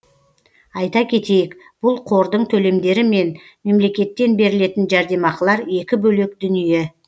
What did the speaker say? айта кетейік бұл қордың төлемдері мен мемлекеттен берілетін жәрдемақылар екі бөлек дүние